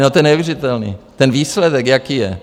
No, to je neuvěřitelné, ten výsledek, jaký je.